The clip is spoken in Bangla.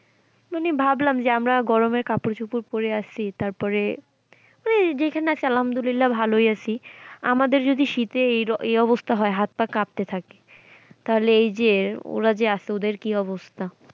মানে ভাবলাম যে আমরা গরমের কাপড় চোপড় পড়ে আসি তারপরে মানে যেখানেই আছি আলহামদুলিল্লাহ ভালোই আছি আমাদের যদি শীতে এই অবস্থা হয় হাত-পা কাঁপতে থাকে তাহলে এই যে ওরা যে আসে ওদের কি অবস্থা।